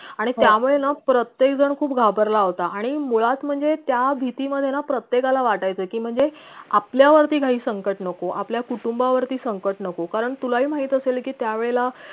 आणि त्यामुळे ना प्रत्येक जण खूप घाबरला होता आणि मुळात म्हणजे त्या भीती मधे ना प्रत्येकाला वाटायचं की म्हणजे आपल्या वरती काही संकट नको आपल्या कुटुंबा वरती संकट नको कारण तुलाही माहित असेल की त्या वेळेला